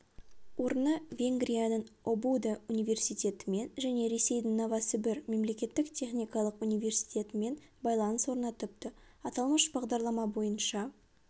орны венгрияның обуда университетімен және ресейдің новосібір мемлекеттік техникалық университетімен байланыс орнатыпты аталмыш бағдарлама бойынша